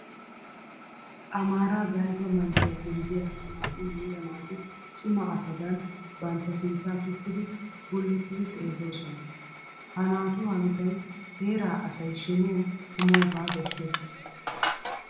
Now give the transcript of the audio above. Amaaraa dalgga manttiyappe gidiya naa"u yiira naati cima asadan bantta sinttaa tukkidi gullottidi xeelloosona. Ha naatu hanotay heeraa asay sheniyan kumoogaa bessees.